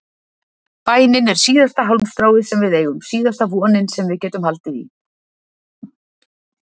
Bænin er síðasta hálmstráið sem við eigum, síðasta vonin sem við getum haldið í.